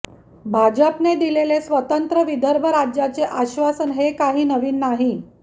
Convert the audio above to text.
भाजपने दिलेले स्वतंत्र विदर्भ राज्याचे आश्वासन हे काही नवीन नाही